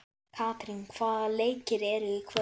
Katrín, hvaða leikir eru í kvöld?